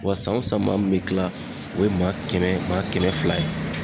Wa san o san maa min be kila o ye maa kɛmɛ maa kɛmɛ fila ye